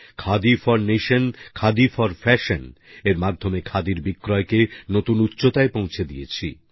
khadi for nation khadi for fashion এর মাধ্যমে খাদির বিক্রয়কে নতুন উচ্চতায় পৌঁছে দিয়েছি